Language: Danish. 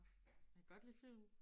Jeg kan godt lide film